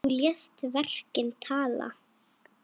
Þú lést verkin tala.